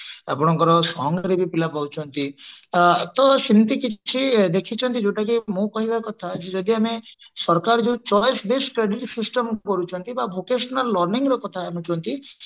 ଆପଣଙ୍କର song ରେ ବି ପିଲା ପାଉଛନ୍ତି ତ ସେମିତି କିଛି ଦେଖିଛନ୍ତି କି ମୋ କହିବା କଥା କି ଯଦି ଆମେ ସରକାର ଯୋଉ choice based study system କରୁଛନ୍ତି ବା vocational learning କଥା କହୁଛନ୍ତି